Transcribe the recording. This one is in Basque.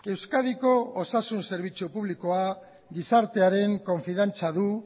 euskadiko osasun zerbitzu publikoa gizartearen konfidantza du